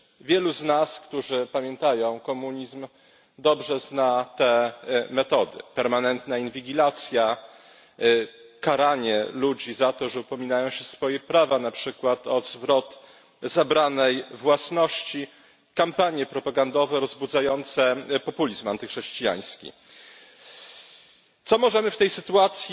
Wielu z nas, którzy pamiętają komunizm, dobrze zna te metody permanentna inwigilacja, karanie ludzi za to, że upominają się o swoje prawa, na przykład o zwrot zabranej własności, kampanie propagandowe rozbudzające populizm antychrześcijański. Co możemy w tej sytuacji